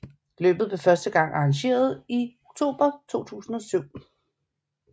Løbet blev første gang arrangeret i oktober 2007